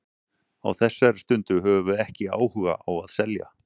Á þessari stundu höfum við ekki áhuga á að selja.